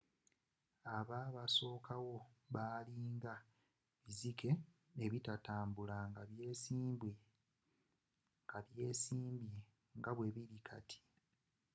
ababasokawo bali nga bizike ebitatambula nga byesimbye nga bwebili kati